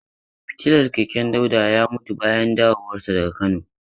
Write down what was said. Fitilar keken Dauda ya mutu bayan dawowarsu daga Kano.